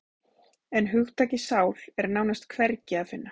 En hugtakið sál er nánast hvergi að finna.